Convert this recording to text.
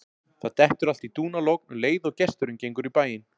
Það dettur allt í dúnalogn um leið og gesturinn gengur í bæinn.